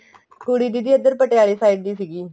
ਕੁੜੀ ਦੀਦੀ ਇੱਧਰ ਪਟਿਆਲੇ side ਦੀ ਸੀਗੀ